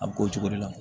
A bɛ k'o cogo de la